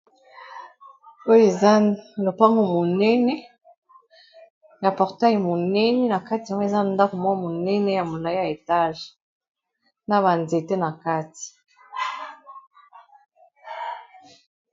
Oyo eza lopango monene ya portail monene na kati nango eza ndako mwa monene ya molayi ya etage na ba nzete na kati.